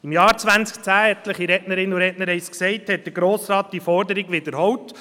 Im Jahr 2010 – etliche Rednerinnen und Redner haben es gesagt – hat der Grosse Rat diese Forderung wiederholt.